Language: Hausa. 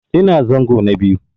Ina zango na biyu.